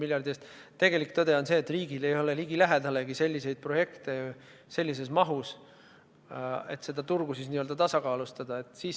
Aga tegelik tõde on see, et riigil ei ole ligilähedaseltki selliseid projekte sellises mahus, et seda turgu n-ö tasakaalustada.